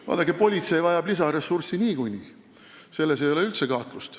Vaadake, politsei vajab niikuinii lisaressurssi – selles ei ole üldse kahtlust.